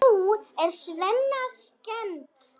Nú er Svenna skemmt.